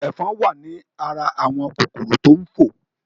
Ẹ̀fọn wa ní ara àwọn kòkòrò tó ń fò